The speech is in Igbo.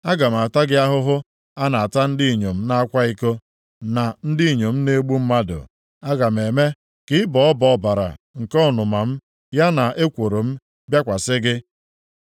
Aga m ata gị ahụhụ a na-ata ndị inyom na-akwa iko, na ndị inyom na-egbu mmadụ. Aga m eme ka ịbọ ọbọ ọbara nke ọnụma m, ya na ekworo m, bịakwasị gị.